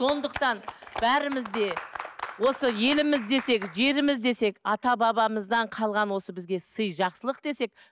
сондықтан бәріміз де осы еліміз десек жеріміз десек ата бабамыздан қалған осы бізге сый жақсылық десек